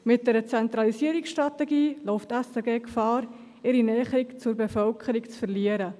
Mit einer Zentralisierungsstrategie läuft die SRG Gefahr, ihre Nähe zur Bevölkerung zu verlieren.